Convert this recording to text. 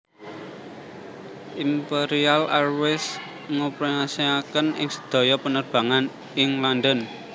Imperial Airways ngoperasiaken ing sedaya penerbangan ing London